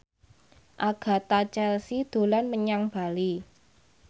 Agatha Chelsea dolan menyang Bali